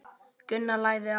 Gunnar lagði á.